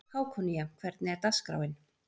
Hákonía, hvernig er dagskráin?